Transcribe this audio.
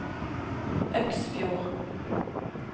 Øksfjord